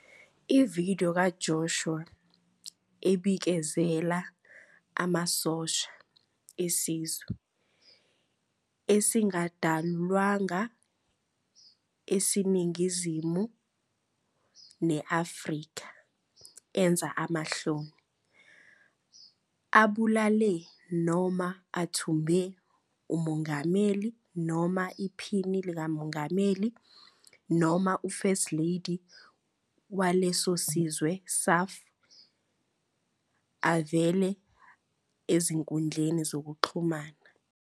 I-video kaJoshua ebikezela "amasosha" esizwe esingadalulwanga eseningizimu ne-Afrika enza amahloni, abulale noma athumbe "uMongameli noma iPhini likaMongameli noma u-First Lady waleso sizwe surf" avele ezinkundleni zokuxhumana